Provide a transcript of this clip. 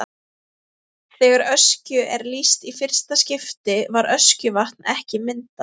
Þegar Öskju er lýst í fyrsta skipti var Öskjuvatn ekki myndað.